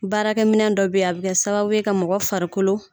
Baarakɛ minɛ dɔ bɛ yen a bɛ kɛ sababu ye ka mɔgɔ farikolo.